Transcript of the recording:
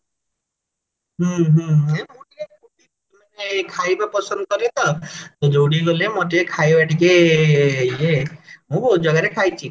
ହୁଁ ହୁଁ ଏଇ ମୁଁ ଟିକେ ମାନେ ଖାଇବା ପସନ୍ଦ କରେ ତ ଯୋଉଠି କି ଗଲେ ମୋର ଟିକେ ଖାଇବା ଟିକେ ଇଏ ମୁଁ ବହହୁତ ଜାଗାରେ ଖାଇଛି